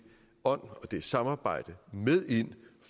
ånd og det samarbejde med ind